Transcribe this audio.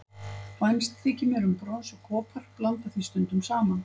Vænst þykir mér um brons og kopar, blanda því stundum saman.